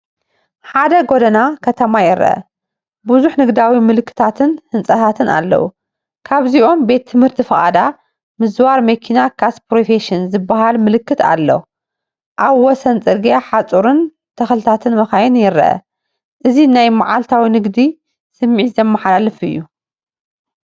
ሓደ ጎደና ከተማ ይርአ፣ ብዙሕ ንግዳዊ ምልክታትን ህንጻታትን ኣለዎ። ካብዚኦም "ቤት ትምህርቲ ፍቓድ ምዝዋር መኪና ካስፕሮፌሽን" ዝብል ምልክት ኣሎ። ኣብ ወሰን ጽርግያ ሓጹርን ተኽልታትን መካይንን ይርአ። እዚ ናይ መዓልታዊ ንግዲ ስምዒት ዘመሓላልፍ እዩ።